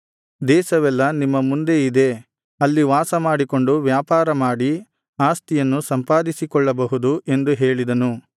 ದೇಶವೆಲ್ಲಾ ನಿಮ್ಮ ಮುಂದೆ ಇದೆ ಅಲ್ಲಿ ವಾಸಮಾಡಿಕೊಂಡು ವ್ಯಾಪಾರ ಮಾಡಿ ಆಸ್ತಿಯನ್ನು ಸಂಪಾದಿಸಿಕೊಳ್ಳಬಹುದು ಎಂದು ಹೇಳಿದನು